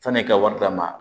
San'i ka wari lamara